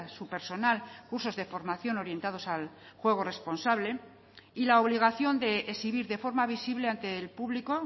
su personal cursos de formación orientados al juego responsable y la obligación de exhibir de forma visible ante el público